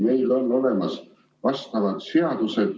Meil on olemas vastavad seadused.